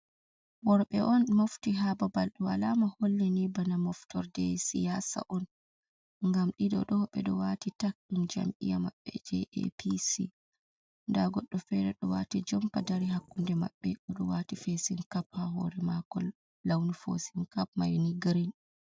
Worɓe on mofti haa babal, alama hollini bana moftorde siyasa on, ngam ɗiɗo ɗo ɓe ɗo waati tak, ɗum jam'iya maɓɓe je APC nda goɗɗo fere ɗo waati jompa dari, hakkunde maɓɓe, o ɗo waati fesin kap haa hoore maako, launu fesin kap mai ni girin.